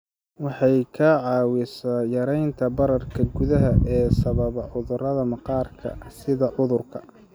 Waxay kaa caawinaysaa yaraynta bararka gudaha ee sababa cudurrada maqaarka sida cudurka